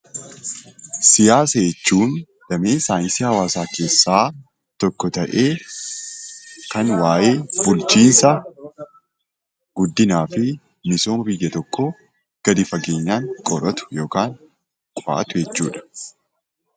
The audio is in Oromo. Siyaasa jechuun damee saayinsii hawaasaa keessaa tokko ta'ee, kan waa'ee bulchiinsa guddinaa fi misooma biyya tokkoo gadi fageenyaan qoratu yookan qo'atu jechuudha.